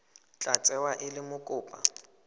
tla tsewa e le mokopa